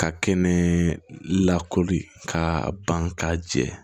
Ka kɛnɛ lakori ka ban k'a jɛ